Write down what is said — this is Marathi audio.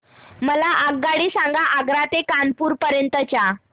मला आगगाडी सांगा आग्रा ते कानपुर पर्यंत च्या